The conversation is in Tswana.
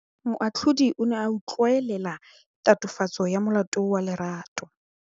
Moatlhodi o ne a utlwelela tatofatsô ya molato wa Lerato.